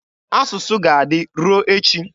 Asụsụ ga-adị ruo echi.